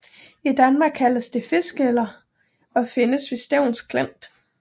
I Danmark kaldes det fiskeler og findes ved Stevns Klint